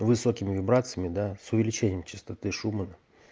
высокими вибрациями да с увеличением частоты шумана